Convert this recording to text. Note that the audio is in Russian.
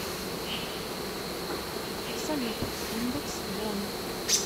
салют индекс бонн